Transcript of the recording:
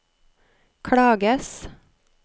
klages